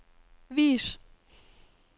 vis